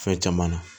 Fɛn caman na